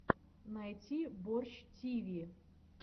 найти борщ тиви